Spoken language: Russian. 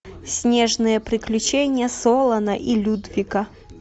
снежные приключения солана и людвига